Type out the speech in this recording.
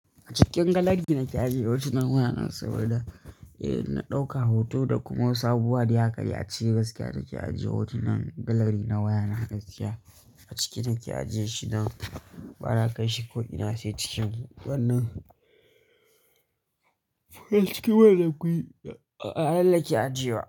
A cikin gallery nake ajiye hotunan wayana saboda eh, na ɗauka hoto da kuma sabuwa dai hakadai ya cire gaskiya da ke ajiye hotunan gallery na wayana gaskiya a ciki nake ajiye shi nan ba na kai shi ko ina sai cikin wannan, a ciki wannan da kun yi, a halin da ake ajiye wa.